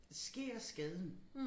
Sker skaden